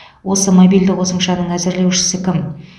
осы мобильді қосымшаның әзірлеушісі кім